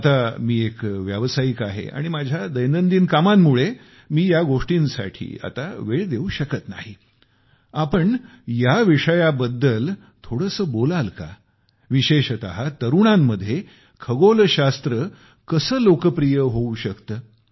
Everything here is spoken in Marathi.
आता मी एक व्यावसायिक आहे आणि माझ्या दैनंदिन कामांमुळे मी या गोष्टींसाठी आता वेळ देऊ शकत नाही आपण या विषयाबद्दल थोडेसे बोलू शकता का विशेषतः तरुणांमध्ये खगोलशास्त्र कसे लोकप्रिय होऊ शकते